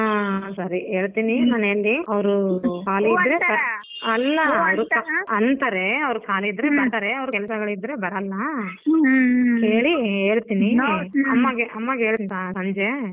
ಹ್ಮ್ ಸರಿ ಹೇಳ್ತೀನಿ ಮನೇಲಿ ಅವರು ಖಾಲಿ ಇದ್ರೆ ಅಲ್ಲ ಅಂತರೇ ಅವರು ಖಾಲಿ ಇದ್ರೆ ಬರ್ತಾರೆ ಅವರು ಕೆಲಸಗಳಿದ್ರೆ ಬರಲ್ಲ ಕೇಳಿ ಹೇಳ್ತೀನಿ ಅಮ್ಮಗೆ ಹೇಳ್ತೀನಿ ಸಂಜೆ.